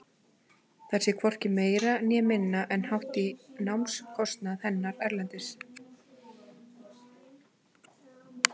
Það sé hvorki meira né minna en hátt í námskostnað hennar erlendis í eitt ár.